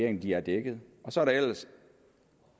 at de er dækket så er der ellers